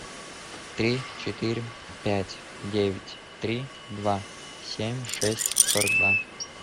три четыре пять девять три два семь шесть сорок два